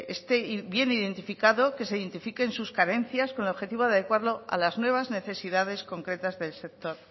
este bien identificado que se identifiquen sus carencias con el objetivo de adecuarlo a las nuevas necesidades concretas del sector